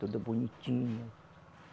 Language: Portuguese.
Tudo bonitinho.